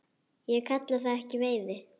Ég kalla það ekki veiði.